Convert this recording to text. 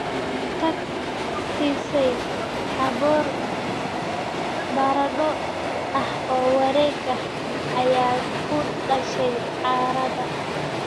taag Siisay aboor baradho ah oo wareeg ah ayaa ku dhashay caarada